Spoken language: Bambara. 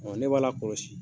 Ɔ ne b'a la kɔlɔsi